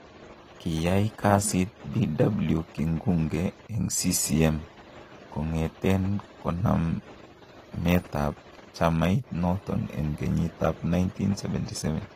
Kiyay kasit Bw. Kingunge en CCM kong'eten kanametab chamait noton en Kenyiit ab 1977.